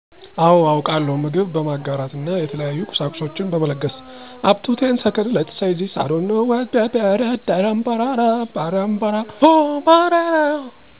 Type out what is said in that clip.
አዎ አውቃለው ምግብ በማጋራት እና የተለያዩ ቁሳቁሷችን በመለገስ